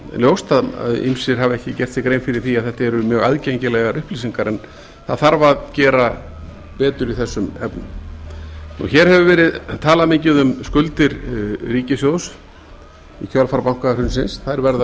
ljóst að ýmsir hafa ekki gert sér grein fyrir því að þetta eru mjög aðgengilegar upplýsingar en það þarf að gera betur í þessum efnum hér hefur borið talað mikið um skuldir ríkissjóðs í kjölfar bankahrunsins þær verða